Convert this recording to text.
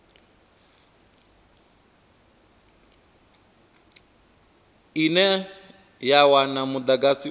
ine ya wana mudagasi u